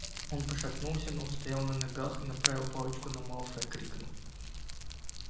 он пошатнулся но устоял на ногах и направив палочку на малфоя крикнул